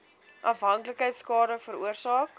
afhanklikheid skade veroorsaak